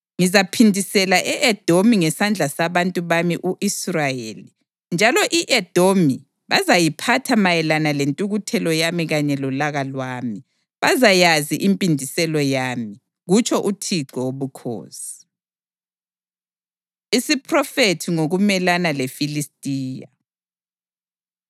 Ngizaphindisela e-Edomi ngesandla sabantu bami u-Israyeli, njalo i-Edomi bazayiphatha mayelana lentukuthelo yami kanye lolaka lwami; bazayazi impindiselo yami, kutsho uThixo Wobukhosi.’ ” Isiphrofethi Ngokumelana LeFilistiya